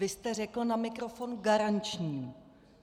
Vy jste řekl na mikrofon - garanční.